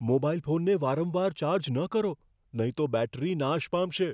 Mobile ફોનને વારંવાર charge ન કરો, નહીં તો બેટરી નાશ પામશે.